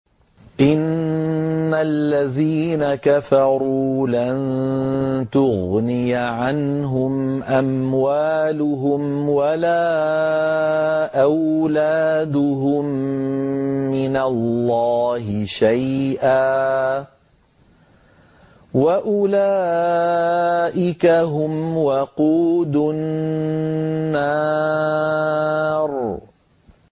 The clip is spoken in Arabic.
إِنَّ الَّذِينَ كَفَرُوا لَن تُغْنِيَ عَنْهُمْ أَمْوَالُهُمْ وَلَا أَوْلَادُهُم مِّنَ اللَّهِ شَيْئًا ۖ وَأُولَٰئِكَ هُمْ وَقُودُ النَّارِ